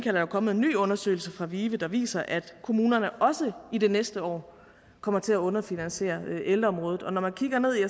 er der kommet en ny undersøgelse fra vive der viser at kommunerne også i det næste år kommer til at underfinansiere ældreområdet og når man kigger ned i